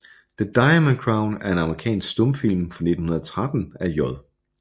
The Diamond Crown er en amerikansk stumfilm fra 1913 af J